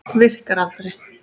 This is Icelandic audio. Virkar aldrei.